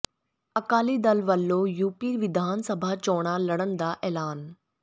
ਅਕਾਲੀ ਦਲ ਵੱਲੋਂ ਯੂਪੀ ਵਿਧਾਨ ਸਭਾ ਚੋਣਾਂ ਲਡ਼ਨ ਦਾ ਅੇੈਲਾਨ